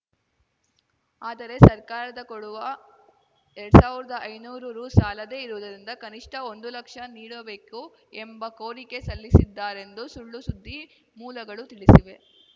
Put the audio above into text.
ಆದರೆ ಸರ್ಕಾರದ ಕೊಡುವ ಎರಡ್ ಸಾವ್ರ್ದಾ ಐನೂರು ರು ಸಾಲದೇ ಇರುವುದರಿಂದ ಕನಿಷ್ಠ ಒಂದು ಲಕ್ಷ ನೀಡಬೇಕು ಎಂಬ ಕೋರಿಕೆ ಸಲ್ಲಿಸಿದ್ದಾರೆಂದು ಸುಳ್ಳು ಸುದ್ದಿ ಮೂಲಗಳು ತಿಳಿಸಿವೆ